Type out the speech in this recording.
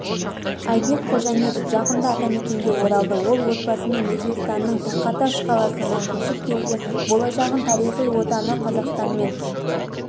айбек қожаметов жақында атамекенге оралды ол отбасымен өзбекстанның тахаташ қаласынан көшіп келген болашағын тарихи отаны қазақстанмен